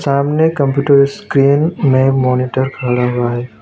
सामने computer screen में monitor खड़ा हुआ है।